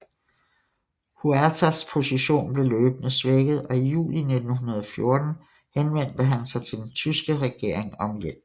Huertas position blev løbende svækket og i juli 1914 henvendte han sig til den tyske regering om hjælp